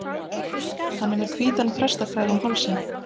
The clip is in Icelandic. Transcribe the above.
Hann er með hvítan prestakraga um hálsinn.